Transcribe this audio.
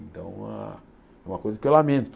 Então, uma uma coisa que eu lamento.